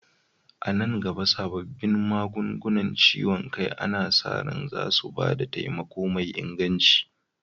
A nan gaba, sabbin magungunan ciwon kai ana sa ran zasu ba da taimako mai inganci.